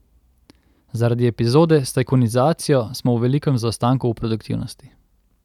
Zaradi epizode s tajkunizacijo smo v velikem zaostanku v produktivnosti.